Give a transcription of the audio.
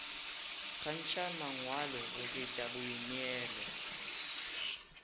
kgantšha mangwalo go feta boineelo